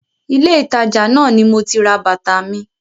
Ilé ìtajà náà ni moti ra bàtà mi.